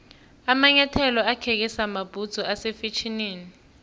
amanyathelo akheke samabhudzu ase fetjhenini